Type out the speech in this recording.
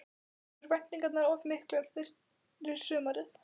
Voru væntingarnar of miklar fyrir sumarið?